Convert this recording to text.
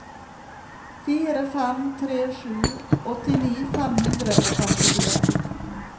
fire fem tre sju åttini fem hundre og femtifire